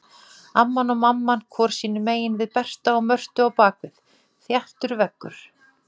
Amman og mamman hvor sínum megin við Berta og Mörtu á bak við, þéttur veggur.